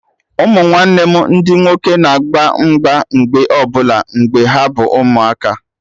Ụmụnwanne m ndị nwoke na agba mgba mgbe ọbụla mgbe ha bụ ụmụaka